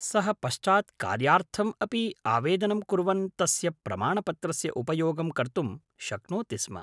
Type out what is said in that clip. सः पश्चात् कार्यार्थम् अपि आवेदनं कुर्वन् तस्य प्रमाणपत्रस्य उपयोगं कर्तुं शक्नोति स्म।